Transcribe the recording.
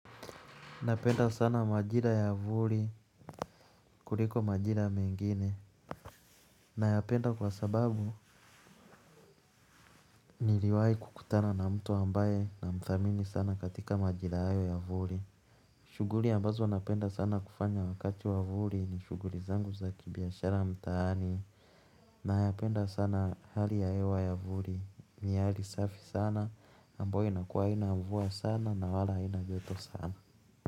Napenda sana majira ya vuli kuliko majira mengine. Nayapenda kwa sababu niliwahi kukutana na mtu ambaye namthamini sana katika majira hayo ya vuli. Shughuli ambazo napenda sana kufanya wakati wa vuli ni shughuli zangu za kibiashara mtaani. Nayapenda sana hali ya hewa ya vuli ni ya hali safi sana ambao inakuwa haina mvua sana na wala haina joto sana.